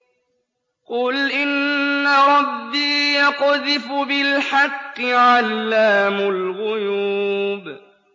قُلْ إِنَّ رَبِّي يَقْذِفُ بِالْحَقِّ عَلَّامُ الْغُيُوبِ